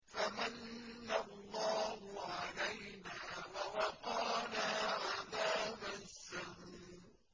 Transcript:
فَمَنَّ اللَّهُ عَلَيْنَا وَوَقَانَا عَذَابَ السَّمُومِ